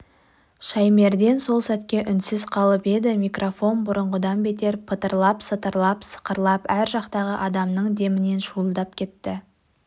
шаймерден сәл сәтке үнсіз қалып еді микрофон бұрынғыдан бетер пытырлап-сытырлап сықырлап ар жақтағы адамның демінен шуылдап кетті